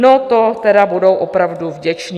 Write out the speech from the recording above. No to teda budou opravdu vděčné.